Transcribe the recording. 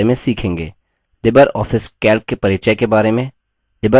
Libre Office calc के परिचय के बारे में